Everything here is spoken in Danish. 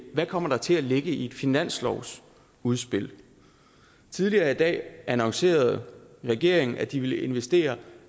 hvad kommer der til at ligge i et finanslovsudspil tidligere i dag annoncerede regeringen at de ville investere